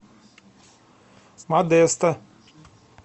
модесто